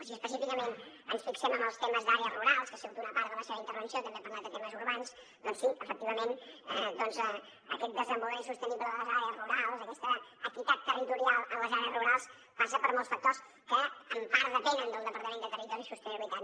si específicament ens fixem en els temes d’àrees rurals que ha sigut una part de la seva intervenció també ha parlat de temes urbans doncs sí efectivament aquest desenvolupament sostenible de les àrees rurals aquesta equitat territorial de les àrees rurals passa per molts factors que en part depenen del departament de territori i sostenibilitat